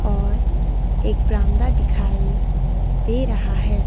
और एक बारामदा दिखाई दे रहा है।